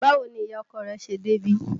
Báwo ni ìyá ọkọ rẹ̀ ṣe débí?